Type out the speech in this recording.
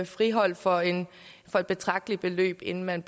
friholdt for for et betragteligt beløb inden man